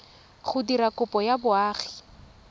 go dira kopo ya boagi